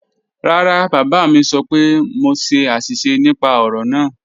Rárá, bábá mi sọ́ pẹ̀ mọ ṣè ạ̀ṣísẹ̀ nípà ọ̀rọ̀ náà.